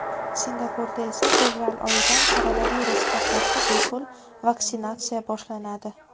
Singapurda esa fevral oyidan koronavirusga qarshi bepul vaksinatsiya boshlanadi .